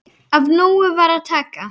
Af nógu var að taka.